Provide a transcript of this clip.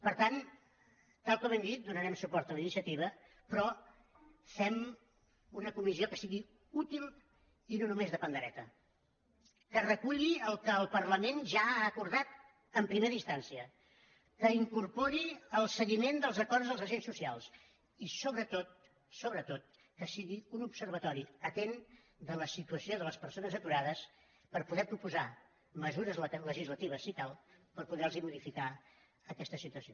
per tant tal com hem dit donarem suport a la iniciativa però fem una comissió que sigui útil i no només de pandereta que reculli el que el parlament ja ha acordat en primera instància que incorpori el seguiment dels acords dels agents socials i sobretot sobretot que sigui un observatori atent de la situació de les persones aturades per poder proposar mesures legislatives si cal per poder los modificar aquesta situació